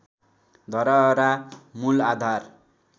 धरहरा मूल आधार